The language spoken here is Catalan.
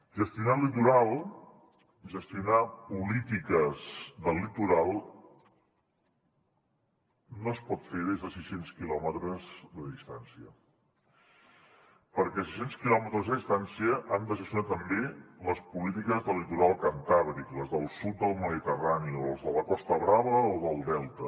gestionar el litoral gestionar polítiques del litoral no es pot fer des de sis cents quilòmetres de distància perquè a sis cents quilòmetres de distància han de gestionar també les polítiques del litoral cantàbric les del sud del mediterrani o les de la costa brava o del delta